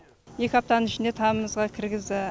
екі аптаның ішінде тамымызға кіргізді